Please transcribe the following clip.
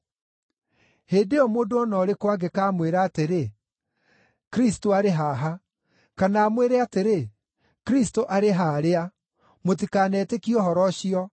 Hĩndĩ ĩyo mũndũ o na ũrĩkũ angĩkamwĩra atĩrĩ, ‘Kristũ arĩ haha!’ kana amwĩre atĩrĩ, ‘Kristũ arĩ haarĩa!’ mũtikanetĩkie ũhoro ũcio.